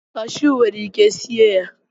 cashu nwere ike sie ya.